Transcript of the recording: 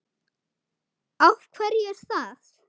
Af hverju er það?